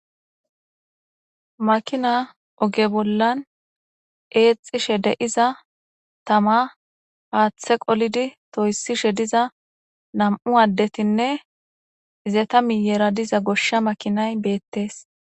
Makina oge bollan eexxishe deiza tama haaththe qolidi toyssishe diza nam7u addetinne izeta miyeeradiza goshsha makinay beettees.